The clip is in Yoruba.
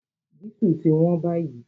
Dísù ti wón báyìí